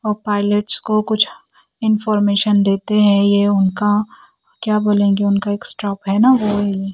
और पायलट को कुछ इनफॉरमेशन देते हैं ये उनका क्या बोलेंगे उनका एक स्टॉप हैं ना वो है ये --